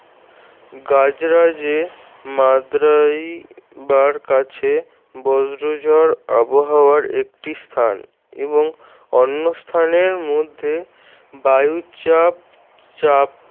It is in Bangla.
গাজরাজে মাদ্রাইবার কাছে বজ্র ঝড় আবহাওয়ার একটি স্থান এবং অন্য স্থানের মধ্যে বায়ুচাপ চাপ